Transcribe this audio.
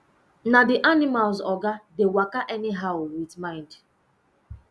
na the animals oga dey waka any how with mind